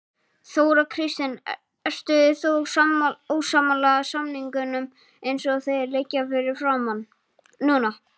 Þóra Kristín: Ertu þá ósammála samningunum eins og þeir liggja fyrir núna?